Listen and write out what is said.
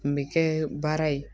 Kun bɛ kɛ baara ye